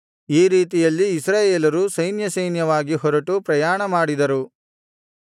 ಈ ರೀತಿಯಲ್ಲಿ ಇಸ್ರಾಯೇಲರು ಸೈನ್ಯಸೈನ್ಯವಾಗಿ ಹೊರಟು ಪ್ರಯಾಣಮಾಡಿದರು